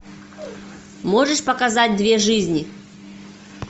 можешь показать две жизни